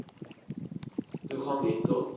toegang het tot